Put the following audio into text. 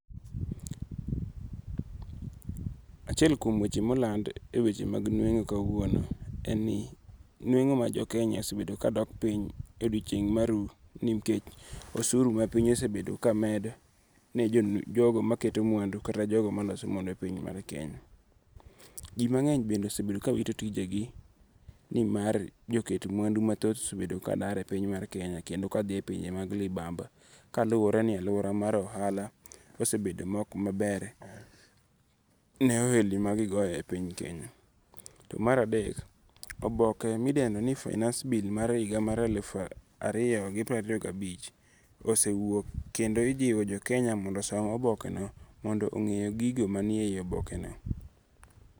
Achiel kuom weche moland e weche nwengo' kauono en ni nuengo' ma jokenya osebedo ka dok piny e odiochieng maru nikech osuru ma piny osebedo kamedo ne jogo maketo mwandu kata jogo maloso mwandu e piny mar Kenya, ji mange'ny bende osebedo ka wito tijegi ni mar joket mwandu mathoth osebedo ka dare e piny mar Kenya kendo ka thi e pinje mag libamba kaluwore ni aluora mar ohala osebedo ma ok mabere ne ohelni magigoyo e piny Kenya. To maradek oboke midendo ni finance bill mar higa mar alufu ariyo gi prariyo gabich osewuok kendo ijiwo jokenya mondo osom obokeno mondo onge' gigo manie hiye manie obokeno.